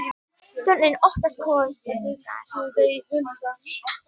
Stjórnin óttast kosningar